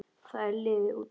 Þetta er liðin tíð.